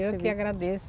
Eu que agradeço.